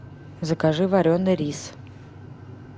закажи вареный рис